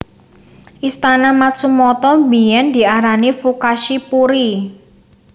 Istana Matsumoto biyen diarani Fukashi Puri